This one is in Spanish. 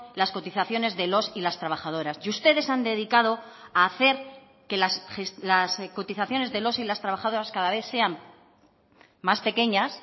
las cotizaciones de los y las trabajadoras y ustedes han dedicado a hacer que las cotizaciones de los y las trabajadoras cada vez sean más pequeñas